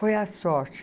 Foi a sorte.